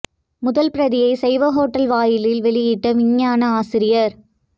முதல் பிரதியை சைவஹோட்டல் வாயிலில் வெளியிட்ட விஞ்ஞான ஆசிரியர்